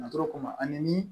Natɔ ko ma ani